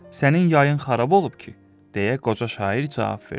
Sənin yayın xarab olub ki, deyə qoca şair cavab verdi.